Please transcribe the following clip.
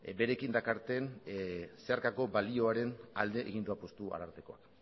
berekin dakarten zeharkako balioaren alde egin du apustu ararteakoak